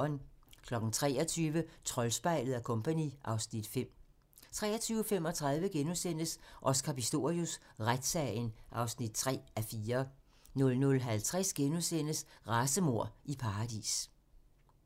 23:00: Troldspejlet & Co. (Afs. 5) 23:35: Oscar Pistorius: Retssagen (3:4)* 00:50: Racemord i paradis *